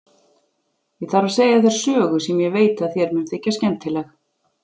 Ég þarf að segja þér sögu sem ég veit að þér mun þykja skemmtileg.